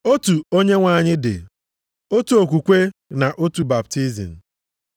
Otu Onyenwe anyị dị, otu okwukwe na otu baptizim.